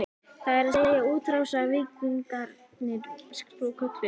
Það er að segja, útrásarvíkingarnir svokölluðu?